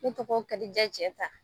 Ne tɔgɔ kadija Cɛnta